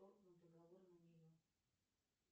договор на нее